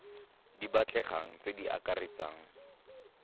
di batlegang tse di akaretsang